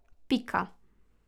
Pika.